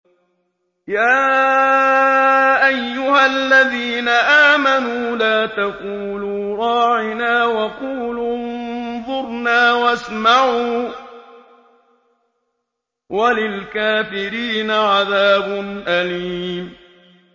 يَا أَيُّهَا الَّذِينَ آمَنُوا لَا تَقُولُوا رَاعِنَا وَقُولُوا انظُرْنَا وَاسْمَعُوا ۗ وَلِلْكَافِرِينَ عَذَابٌ أَلِيمٌ